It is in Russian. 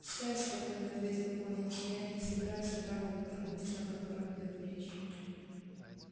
сэр спокойно ответил пониетс я и не собираюсь оправдывать торговца о котором идёт речь